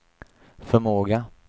förmåga